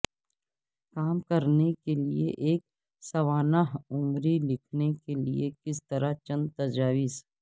کام کرنے کے لئے ایک سوانح عمری لکھنے کے لئے کس طرح چند تجاویز